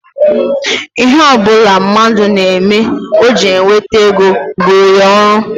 Ihe ọ bụla mmadụ na-eme o ji enweta ego bụụrụ ya ọrụ